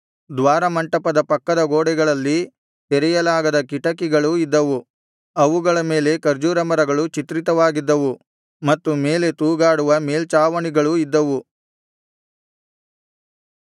ದ್ವಾರಮಂಟಪದ ಪಕ್ಕದ ಗೋಡೆಗಳಲ್ಲಿ ತೆರೆಯಲಾಗದ ಕಿಟಕಿಗಳೂ ಇದ್ದವು ಅವುಗಳ ಮೇಲೆ ಖರ್ಜೂರ ಮರಗಳು ಚಿತ್ರಿತವಾಗಿದ್ದವು ಮತ್ತು ಮೇಲೆ ತೂಗಾಡುವ ಮೇಲ್ಛಾವಣಿಗಳು ಇದ್ದವು